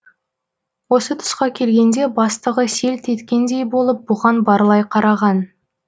осы тұсқа келгенде бастығы селт еткендей болып бұған барлай қараған